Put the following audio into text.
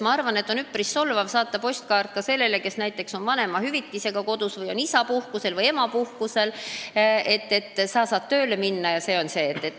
Ma arvan, et on üpris solvav saata postkaart infoga, et sa saad tööle minna jne, sellele inimesele, kes on kodus ja saab vanemahüvitist või on isa- või emapuhkusel.